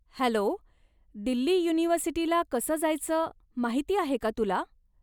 Hello, Delhi युनिव्हर्सिटीला कसं जायचं माहिती आहे का तुला?